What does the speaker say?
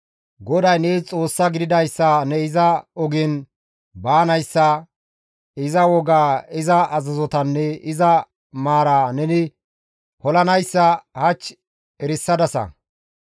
GODAY nees Xoossaa gididayssa ne iza ogen baanayssa, iza wogaa, iza azazotanne iza maaraa neni polanayssa hach erisadasa.